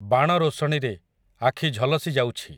ବାଣ ରୋଶଣୀରେ, ଆଖି ଝଲସି ଯାଉଛି ।